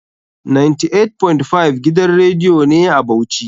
98.5 gidan radiyo ne a Bauchi.